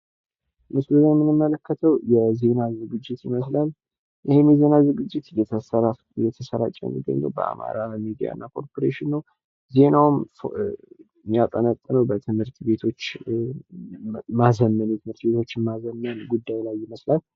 ምስሉ ላይ የምንመለከተው የ ዜና ዝግጅት ይምስላል። ይሄንን የዜና ዝግጅት እየተሰራጨ የሚገኘው በማራ ሚዲያ እና ኮርፖሬሽን ነው። ዜናውም የሚያጠነጥነው ትምህርት ቤቶችን በማዘመን ጉዳይ ላይ ይመስላል።